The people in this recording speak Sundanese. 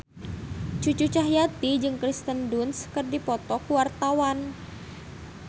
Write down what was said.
Cucu Cahyati jeung Kirsten Dunst keur dipoto ku wartawan